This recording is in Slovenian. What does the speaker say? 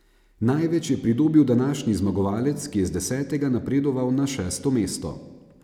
Največ je pridobil današnji zmagovalec, ki je z desetega napredoval na šesto mesto.